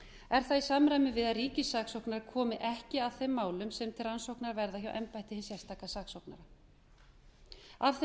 það í samræmi við það að ríkissaksóknari komi ekki að þeim málum sem til rannsóknar verði hjá embætti hins sérstaka saksóknara af þeim